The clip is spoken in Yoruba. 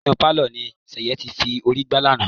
Inú pálọ̀ ni Ṣẹ̀yẹ ti forí gbá lánàá.